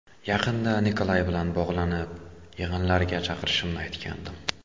Yaqinda Nikolay bilan bog‘lanib, yig‘inlarga chaqirishimni aytgandim.